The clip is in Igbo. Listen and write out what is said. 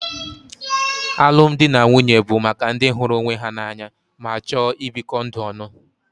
Alụmdi na nwunye bụ maka ndị hụrụ onwe ha n'anya ma chọọ ibikọ ndụ ọnụ.